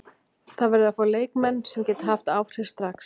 Það verður að fá leikmenn sem geta haft áhrif strax.